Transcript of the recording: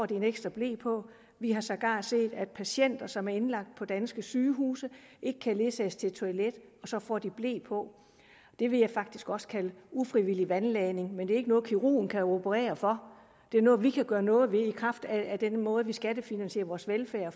dem en ekstra ble på vi har sågar set at patienter som er indlagt på danske sygehuse ikke kan ledsages til et toilet og så får de ble på det vil jeg faktisk også kalde ufrivillig vandladning men det er ikke noget kirurgen kan operere for det er noget vi kan gøre noget ved i kraft af den måde vi skattefinansierer vores velfærd